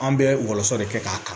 An bɛ wɔlɔsɔ de kɛ k'a ta